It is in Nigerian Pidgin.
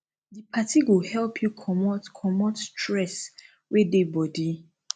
di party go help yu comot comot stress wey dey body